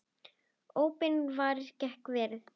Óbeinar varnir geta verið